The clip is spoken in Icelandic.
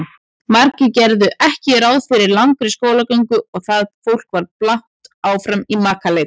Margir gerðu ekki ráð fyrir langri skólagöngu og það fólk var blátt áfram í makaleit.